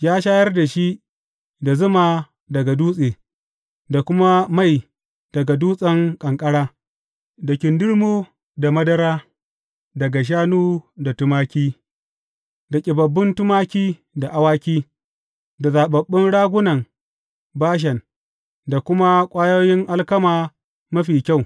Ya shayar da shi da zuma daga dutse, da kuma mai daga dutsen ƙanƙara, da kindirmo da madara daga shanu da tumaki da ƙibabbun tumaki da awaki, da zaɓaɓɓun ragunan Bashan da kuma ƙwayoyin alkama mafi kyau.